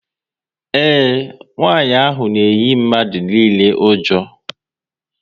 Ee, nwanyị ahụ na eyi mmadụ niile ụjọ